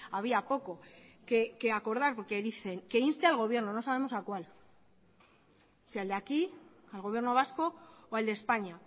había poco que acordar porque dicen que insten al gobierno no sabemos a cuál si al de aquí al gobierno vasco o al de españa